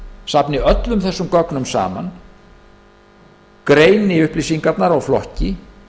safni öllum þessum gögnum saman greini upplýsingarnar og flokki